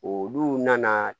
Olu nana